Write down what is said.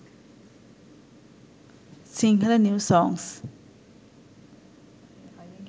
sinhala new songs